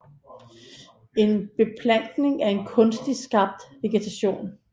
En beplantning er en kunstigt skabt vegetation